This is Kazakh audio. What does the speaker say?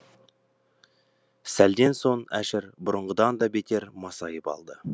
сәлден соң әшір бұрынғыдан да бетер масайып алды